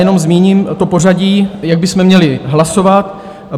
Jenom zmíním to pořadí, jak bychom měli hlasovat.